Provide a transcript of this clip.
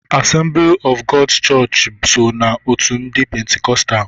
Assembly Of God's chọọchị so n'otu ndị pentikostal.